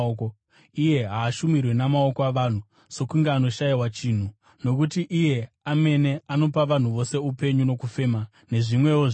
Iye haashumirwi namaoko avanhu, sokunge anoshayiwa chinhu, nokuti iye amene anopa vanhu vose upenyu nokufema, nezvimwewo zvinhu.